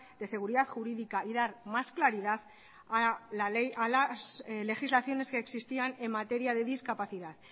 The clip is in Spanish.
de seguridad jurídica y dar más claridad a la ley a las legislaciones que existían en materia de discapacidad